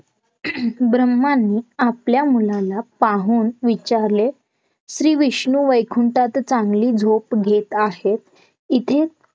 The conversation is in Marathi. ब्रम्हाणी आपल्या मुलाला पाहून विचारले श्री विष्णू वैकुंटात चांगली झोप घेत आहेत इथे